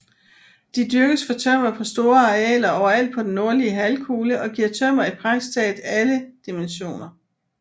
De dyrkes for tømmer på store arealer overalt på den nordlige halvkugle og giver tømmer i praktisk taget alle dimensioner